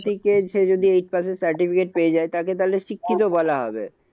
থেকে সে যদি eight pass এর certificate পেয়ে যায় তাকে তাহলে শিক্ষিত বলা হবে।